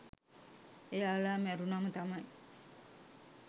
එයාල මැරුනම තමයි